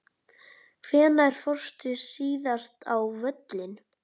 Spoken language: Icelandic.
Hvenær fórstu síðast á völlinn?